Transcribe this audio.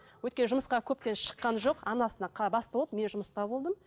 өйткені жұмысқа көптен шыққан жоқ анасына бас болып мен жұмыста болдым